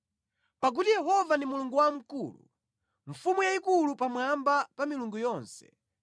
Pakuti Yehova ndi Mulungu wamkulu, mfumu yayikulu pamwamba pa milungu yonse.